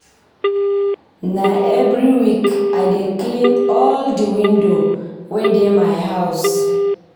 Na every week I dey clean all di window wey dey my house.